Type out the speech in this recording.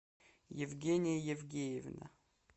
евгения евгеевна